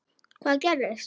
Hvað gerðist?